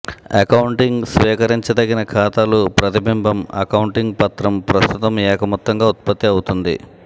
accounting స్వీకరించదగిన ఖాతాలు ప్రతిబింబం అకౌంటింగ్ పత్రం ప్రస్తుతం ఏక మొత్తంగా ఉత్పత్తి అవుతోంది